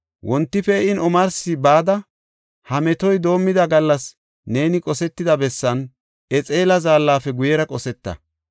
Wonti pee7in omarsi bada, ha metoy doomida gallas neeni qosetida bessan, Exela zaallafe guyera qosetta.